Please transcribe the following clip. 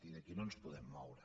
i d’aquí no ens podem moure